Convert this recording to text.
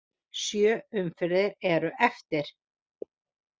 Sjö umferðir eru eftir.